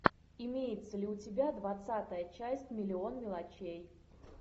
имеется ли у тебя двадцатая часть миллион мелочей